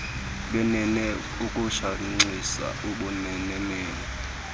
lwenene ukushenxisa ubumenemene